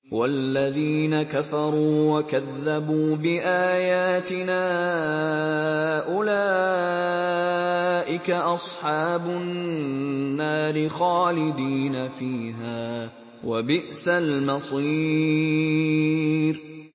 وَالَّذِينَ كَفَرُوا وَكَذَّبُوا بِآيَاتِنَا أُولَٰئِكَ أَصْحَابُ النَّارِ خَالِدِينَ فِيهَا ۖ وَبِئْسَ الْمَصِيرُ